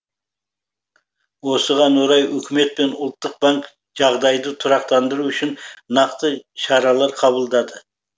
осыған орай үкімет пен ұлттық банк жағдайды тұрақтандыру үшін нақты шаралар қабылдады